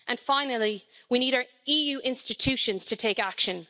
And finally, we need EU institutions to take action.